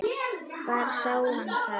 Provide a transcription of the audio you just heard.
Hvar sá hann það?